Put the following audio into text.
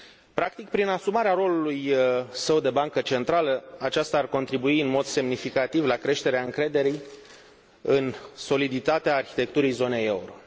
Practic, prin asumarea rolului său de bancă centrală, aceasta ar contribui în mod semnificativ la creșterea încrederii în soliditatea arhitecturii zonei euro.